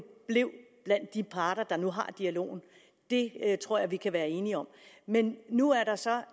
blev blandt de parter der nu har dialogen det tror jeg vi kan være enige om men nu er der så